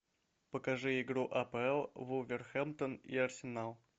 покажи игру апл вулверхэмптон и арсенал